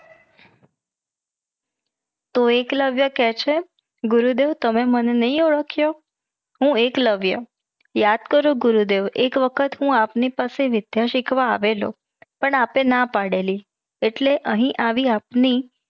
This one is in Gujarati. તો એકલવ્ય કે છે ગુરુદેવ તમે મને નહીં ઓડખ્યો. હું એકલવ્ય. યાદ કરો ગુરુદેવ એક વખત હું આપની પાસે વિધ્ય સિખવા આવેલો પણ આપને ના પડાળી એટલે અહી આવી આપની